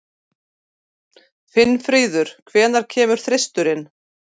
Finnfríður, hvenær kemur þristurinn?